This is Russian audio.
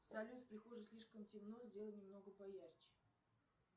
салют в прихожей слишком темно сделай немного поярче